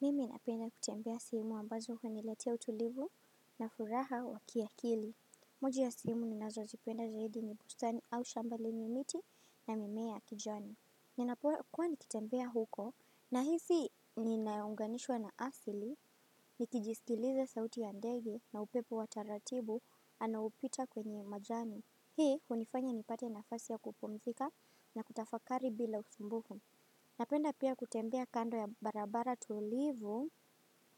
Mimi napenda kutembea sehemu ambazo huniletea utulivu na furaha wa kiakili. Moja ya sehemu ninazozipenda zaidi ni bustani au shamba lenye miti na mimea ya kijani. Ninapokuwa nikitembea huko nahisi ninaunganishwa na asili, nikijisikiliza sauti ya ndege na upepo wa taratibu anaopita kwenye majani. Hii hunifanya nipate nafasi ya kupumzika na kutafakari bila usumbufu. Napenda pia kutembea kando ya barabara tulivu